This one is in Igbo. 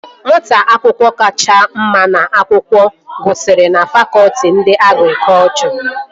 Nwata akwụkwọ kacha mma n'akwụkwọ gụsiri na fakọtị nke agrikọchọ